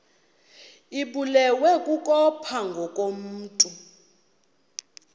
ibulewe kukopha ngokomntu